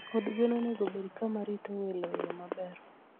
Od gwen onego obed kama rito welo e yo maber.